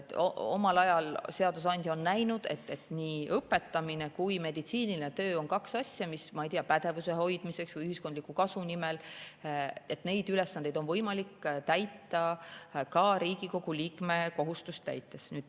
Omal ajal on seadusandja näinud, et nii õpetamine kui meditsiiniline töö on kaks asja, mille puhul, ma ei tea, pädevuse hoidmiseks ja ühiskondliku kasu nimel on neid ülesandeid võimalik täita ka Riigikogu liikme kohustusi täites.